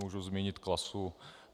Můžu zmínit Klasu.